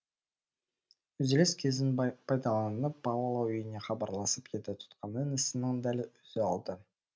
үзіліс кезін пайдаланып паола үйіне хабарласып еді тұтқаны інісінің дәл өзі алды